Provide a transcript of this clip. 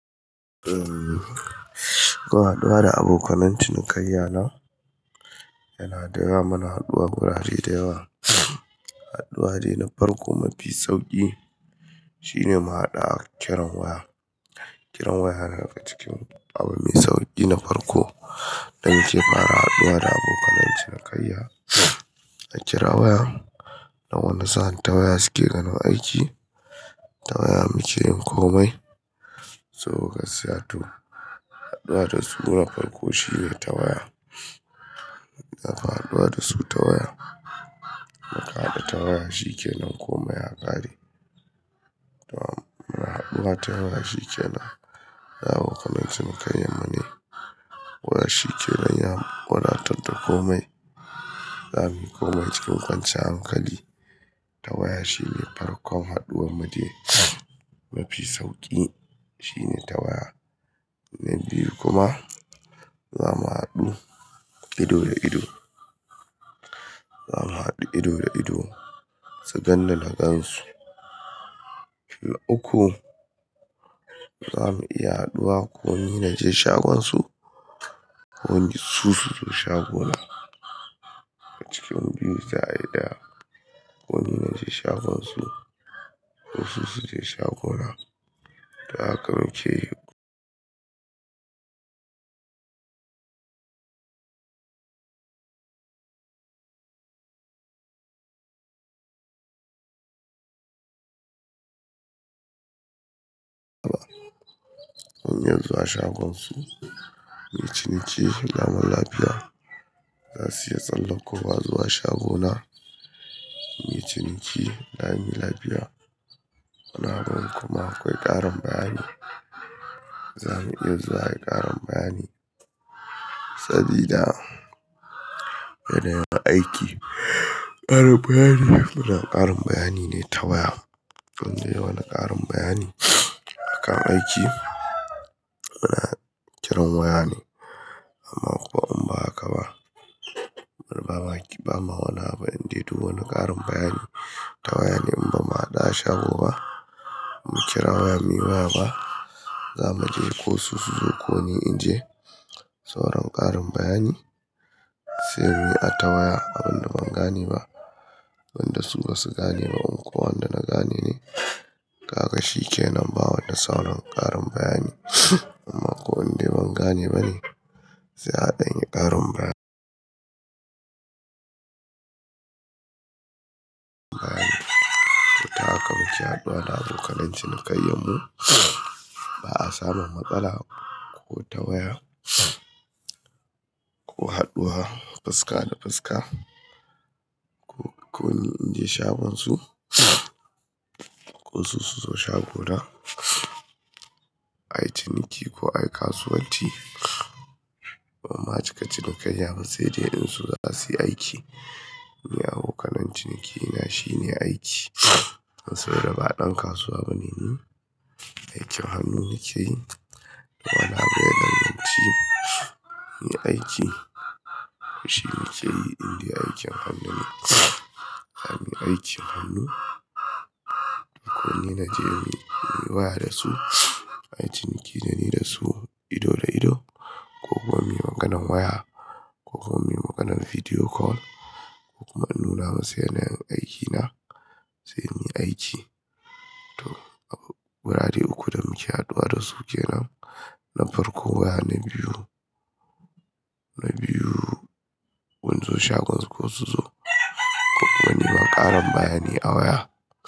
Umm, zuwa haɗuwa da abokanai cinikayya na, yana da yawa muna haɗuwa wurare da yawa. Haɗuwa dai na farko mafi sauƙi shine mu haɗu a kiran waya. Kiran waya yana daga cikin abu mai sauƙi na farko da muke fara haɗuwa da abokanai cinikayya. A kira waya, nan wanda sani ta waya suke ganin aiki, ta waya muke yin komai. To gaskiya to. Haɗuwa da su na farko shine ta waya. Za ka haɗuwa da su ta waya. Muka haɗu ta waya, shi ke nan komai ya ƙare. Ta waya muna haɗuwa, ta waya shi ke nan. Yauwa abokanai cinikayya mune. Waya shi ke nan ya wadatar da komai. Zamu yi komai cikin kwanciyar hankali. Ta waya shine farkon haɗuwar mu de mafi sauƙi shine ta waya. Na biyu kuma za mu haɗu ido da ido. Za mu haɗu ido da ido, su ganni na gansu. Fil uku za mu iya haɗuwa ko ni naje shagonsu ko su su zo shagona. Daga cikin biyu za ayi ko ni naje shagonsu ko su su je shagona. Ta haka muke. Hanya zuwa shagonsu, muyi ci niki, lamun lafiya. Za su iya tsallakowa zuwa shagona, mu yi ci niki, lami lafiya. Muna ganin kuma akwai ƙarin bayani. Zamu iya zuwa yi ƙarin bayani. Sabida yana yin aiki. Ƙarin bayani, fiddan ƙarin bayani ne ta waya. Indan yawani ƙarin bayani akan aiki. Muna kiran waya ne. Amma ko in ba haka ba, mana wani abu, in dai du wani ƙarin bayani ta waya ne in ba mu haɗu a shago ba. Mu kira waya mi waya ba. Za mu je ko su su zo ko ni in je. Sauran ƙarin bayani sai mu yi a ta waya abin da ban gane ba, wanda su ba su gane ba. Ko wanda na gane ne. Kaga shi ke nan bawa ni sauran ƙarin bayani. Amma ko in dai ban gane ba ne sai a ɗanyi ƙarin bayani. To ta haka muke haɗuwa da abokanai cinikayyan mu. Ba a samu matsala ko ta waya ko haɗuwa fuska da fuska ko ko ni in je shagonsu ko su su zo shagona. Ayi ciniki ko ayi kasuwanci. Amma a cikin cinikayya ba sai dai in su za su yi aiki. Ni abokanai ciniki na shine aiki. Saboda ba ɗan kasuwa bane ni. Aikin hannu nike yi. Wani abu yadan ganci. Ni aiki. To shi na keyi indai aikin hannu ne. Zamu yi aikin hannu. Da ko ni naje muyi waya da su. Ai ciniki da ni da su ido da ido. Ko kuma muyi maganan waya ko kuma muyi maganan video call ko kuma in nuna musu yanayin aikina. Sai muyi aiki. To wurare uku da muke haɗuwa da su kenan na farko waya na biyu. Na biyu, sun zo shagonsu ko su zo. Ko kuma nima ƙarin bayani a waya.